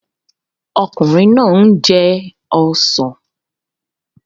Ọkùnrin náà ń jẹ ọsàn